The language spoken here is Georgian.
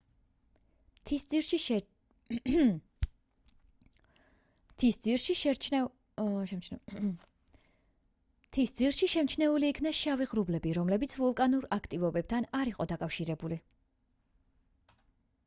მთის ძირში შემჩნეული იქნა შავი ღრუბლები რომლებიც ვულკანურ აქტივობასთან არ იყო დაკავშირებული